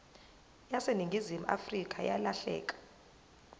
yaseningizimu afrika yalahleka